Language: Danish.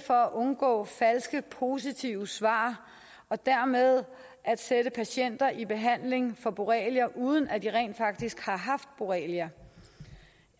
for at undgå falsk positive svar og dermed at sætte patienter i behandling for borrelia uden at de rent faktisk har haft borrelia